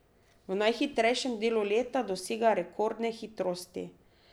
V najhitrejšem delu leta dosega rekordne hitrosti.